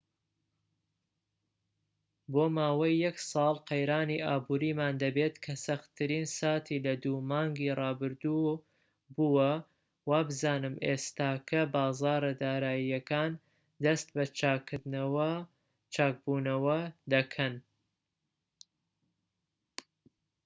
بۆ ماوەی یەک ساڵ قەیرانی ئابوریمان دەبێت کە سەختترین ساتی لە دوو مانگی ڕابردوو بووە و وابزانم ئێستاکە بازاڕە داراییەکان دەست بە چاک بوونەوە دەکەن